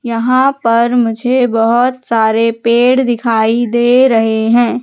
यहां पर मुझे बहोत सारे पेड़ दिखाई दे रहे हैं।